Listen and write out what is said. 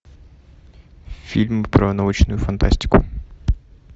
фильм про научную фантастику